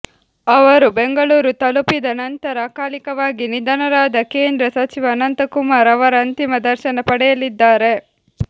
ಅವರು ಬೆಂಗಳೂರು ತಲುಪಿದ ನಂತರ ಅಕಾಲಿಕವಾಗಿ ನಿಧನರಾದ ಕೇಂದ್ರ ಸಚಿವ ಅನಂತಕುಮಾರ್ ಅವರ ಅಂತಿಮ ದರ್ಶನ ಪಡೆಯಲಿದ್ದಾರೆ